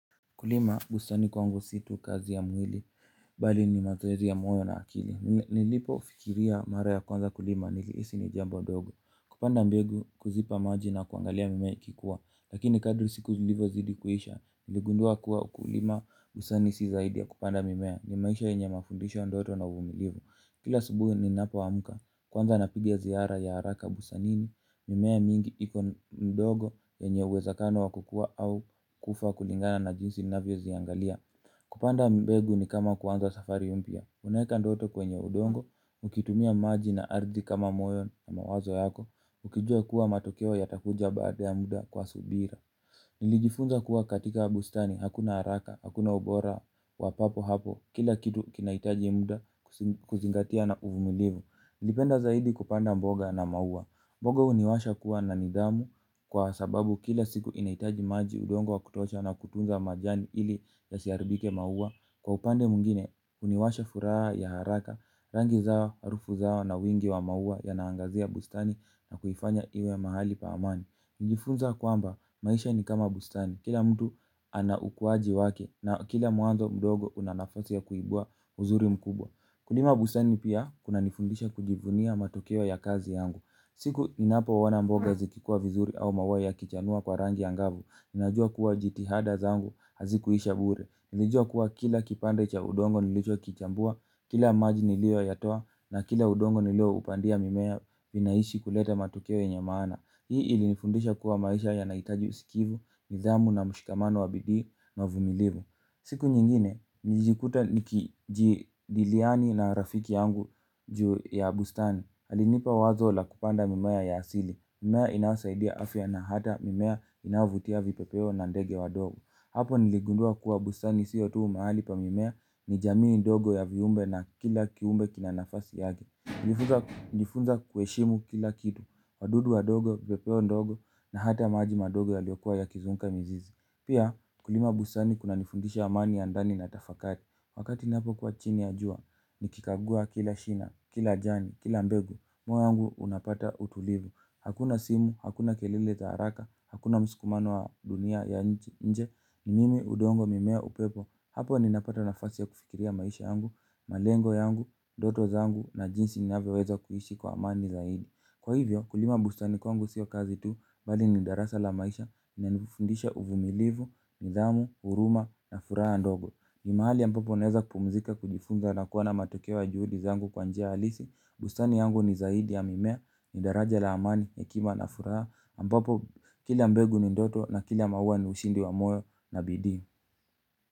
Kulima bustani kwangu si tu kazi ya mwili, bali ni mazoezi ya moyo na akili. Nilipofikiria mara ya kwanza kulima niliisi ni jambo dogo. Kupanda mbegu kuzipa maji na kuangalia mimea ikikuwa. Lakini kadri siku zilivo zidi kuhisha, niligundua kuwa kulima busani si zaidi ya kupanda mimea. Ni maisha yenye mafundisho ndoto na uvumilivu. Kila asubuhi ni napoamka, kwanza napiga ziara ya haraka busanini. Mimea mingi iko ndogo yenye uwezakano wa kukua au kufa kulingana na jinsi navyoziangalia. Kupanda mbegu ni kama kuanza safari mpya. Unaeka ndoto kwenye udongo, ukitumia maji na ardhi kama moyo na mawazo yako. Ukijua kuwa matokeo yatakuja baada ya muda kwa subira. Nilijifunza kuwa katika bustani hakuna haraka, hakuna ubora, wa papo hapo. Kila kitu kinaitaji muda kuzingatia na uvumilivu nlipenda zaidi kupanda mboga na maua mboga uniwasha kuwa na nidamu kwa sababu kila siku inaitaji maji udongo wa kutosha na kutunza majani ili yasiaribike maua. Kwa upande mungine, uniwasha furaha ya haraka, rangi zao, harufu zao na wingi wa maua yanaangazia bustani na kuifanya iwe mahali pa amani. Nijifunza kwamba, maisha ni kama bustani, kila mtu ana ukuaji wake na kila muanzo mdogo una nafasi ya kuibua uzuri mkubwa. Kulima bustani pia, kunanifundisha kujivunia matokeo ya kazi yangu. Siku ninapo ona mboga zikikua vizuri au mauaya kichanua kwa rangi angavu ninajua kuwa jitihada zangu hazikuisha bure. Nilijua kuwa kila kipande cha udongo nilicho kichambua kila majini liyo yatoa na kila udongo nilio upandia mimea vinaishi kuleta matokeoye nyemaana. Hii ilifundisha kuwa maisha yanahitaji usikivu, nidhamu na mshikamano wabidii na uvumilivu. Siku nyingine, nijikuta nikijiliani na rafiki yangu juu ya bustani alinipa wazo la kupanda mimea ya asili, mimea inayosaidia afya na hata mimea inayovutia vipepeo na ndege wa ndogo. Hapo niligundua kuwa bustani siyo tuu mahali pa mimea ni jamii ndogo ya viumbe na kila kiumbe kinanafasi yake. Nilijifunza kuheshimu kila kitu, wadudu wa ndogo, vipepeo ndogo na hata majima ndogo ya liyokua ya kizunguka mizizi. Pia kulima bustani kuna nifundisha amani ya ndani na tafakati. Wakati ni napo kuwa chini ya jua, ni kikagua kila shina, kila jani, kila mbegu, moyo yangu unapata utulivu. Hakuna simu, hakuna keleleza haraka, hakuna msikumano wa dunia ya nje, ni mimi udongo mimea upepo. Hapo ni napata na fasi ya kufikiria maisha yangu, malengo yangu, ndoto zangu na jinsi ni navyoweza kuishi kwa amani zaidi. Kwa hivyo, kulima busta ni kwangu sio kazi tu, bali ni darasa la maisha, lina nifundisha uvumilivu, nidhamu, huruma na furaha ndogo. Ni mahali a mbapo unaweza kupumzika kujifunza na kuona matokeoya juhudi zangu kwanjia halisi. Bustani yangu ni zaidi ya mimea, ni daraja la amani, hekima na furaha ambapo kila mbegu ni ndoto na kila maua ni ushindi wa moyo na bidii.